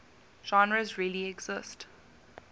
genres really exist